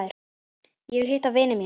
Ég vil hitta vini mína.